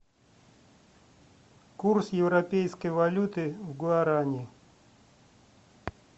курс европейской валюты в гуарани